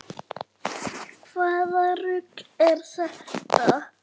Hvaða rugl er þetta??